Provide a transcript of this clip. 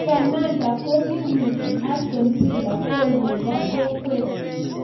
Sammatta Kogiwirchi Aston Villa gool nebo kwong'et